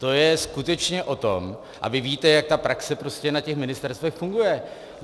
To je skutečně o tom, a vy víte, jak ta praxe na těch ministerstvech funguje.